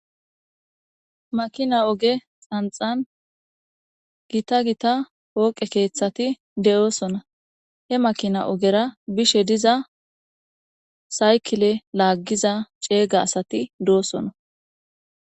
Makina oge xanxani gitta gitta poqe kethati de'osona he makina ogera bishe diza saykile lagiza cega asati de'osona